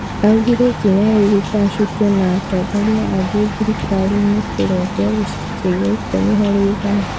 Augire ikinya rĩu ritacũkio na atongoria angĩ thirikarini kũrenguo gĩcunjĩ gĩa ikũmi harĩ igana